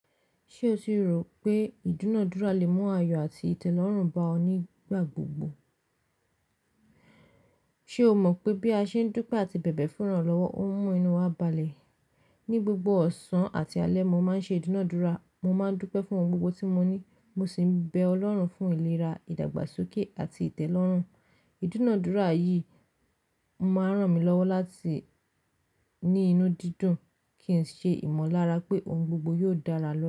Ṣé o ti rò pé idena adúrà lè mú ayọ̀ àti ìtẹ́lọ́rùn bá ọ nígbà gbogbo? Ṣe o mọ̀ pé bí a ṣe ń dúpẹ́ àti bẹ̀bẹ̀ fún iranlowo lọ́wọ́, ó ń mú inú wa balẹ̀. Ni gbogbo ọ̀sán àti alẹ́, mo máa ń ṣe ìdúnadúrà. Mo máa ń dúpẹ́ fún ohun gbogbo tí mo ní, mo sì ń bẹ Ọlọ́run fún ìlera, ìdàgbàsókè àti ìtẹ́lọ́rùn. Ìdúnadúrà yìí máa ń ràn mí lọ́wọ́ láti ní inú dídùn kí n ṣe ìmọ̀lára pé ohun gbogbo yóò dára lọ́la.